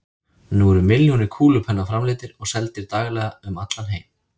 Nú eru milljónir kúlupenna framleiddir og seldir daglega um allan heim.